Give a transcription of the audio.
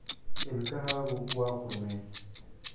Ilkahaagu waa qurmeen.